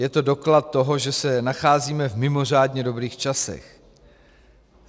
Je to doklad toho, že se nacházíme v mimořádně dobrých časech.